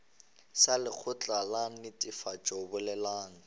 sa lekgotla la netefatšo boleng